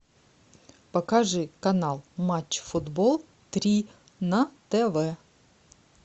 покажи канал матч футбол три на тв